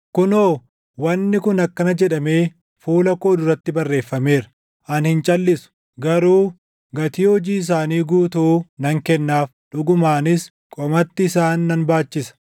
“Kunoo, wanni kun akkana jedhamee fuula koo duratti barreeffameera: ani hin calʼisu; garuu gatii hojii isaanii guutuu nan kennaaf; dhugumaanis qomatti isaan nan baachisa.